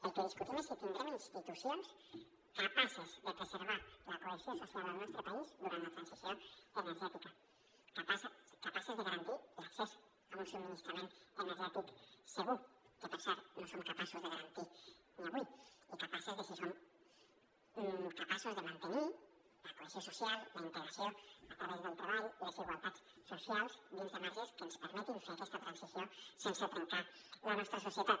el que discutim és si tindrem institucions capaces de preservar la cohesió social al nostre país durant la transició energètica capaces de garantir l’accés a un subministrament energètic segur que per cert no som capaços de garantir ni avui i capaces de mantenir la cohesió social la integració a través del treball les igualtats socials dins de marges que ens permetin fer aquesta transició sense trencar la nostra societat